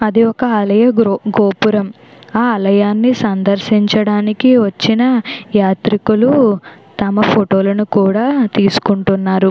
అది ఒక ఆలయ గోపురం ఆ ఆలయాన్ని సందర్శించడానికి వచ్చిన యాత్రికులు తమ ఫోటో లను కూడా తీసుకుంటున్నారు.